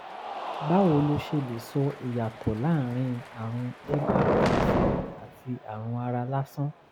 báwo lo ṣe lè sọ ìyàtọ̀ láàárín àrùn mrsa àti àrùn ara lásán?